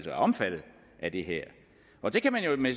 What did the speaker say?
er omfattet af det her og der kan man jo med